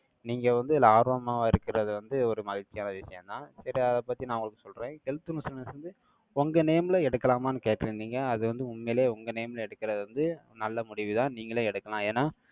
நீங்க வந்து, இதுல ஆர்வமா இருக்கிறது வந்து, ஒரு மகிழ்ச்சியான விஷயம்தான். இப்ப, அதைப் பத்தி, நான் உங்களுக்கு சொல்றேன். Health missioness வந்து உங்க name ல எடுக்கலாமான்னு கேட்டிருந்தீங்க. அது வந்து, உண்மையிலேயே, உங்க name ல எடுக்கறது வந்து, நல்ல முடிவுதான். நீங்களே எடுக்கலாம். ஏன்னா,